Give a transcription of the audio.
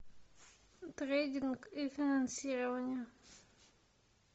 трейдинг и финансирование